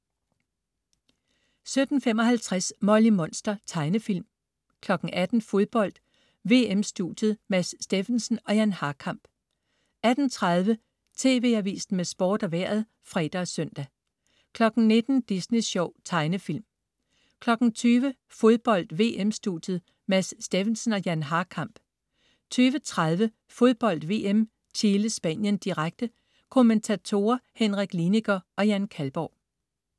17.55 Molly Monster. Tegnefilm 18.00 Fodbold: VM-studiet. Mads Steffensen og Jan Harkamp 18.30 TV Avisen med Sport og Vejret (fre og søn) 19.00 Disney Sjov. Tegnefilm 20.00 Fodbold: VM-studiet. Mads Steffensen og Jan Harkamp 20.30 Fodbold VM: Chile-Spanien, direkte. Kommentatorer: Henrik Liniger og Jan Kalborg